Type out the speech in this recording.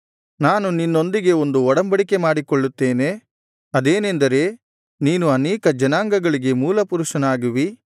ನಾನು ನಿನ್ನೊಂದಿಗೆ ಒಂದು ಒಡಂಬಡಿಕೆ ಮಾಡಿಕೊಳ್ಳುತ್ತೇನೆ ಅದೇನೆಂದರೆ ನೀನು ಅನೇಕ ಜನಾಂಗಗಳಿಗೆ ಮೂಲಪುರುಷನಾಗುವಿ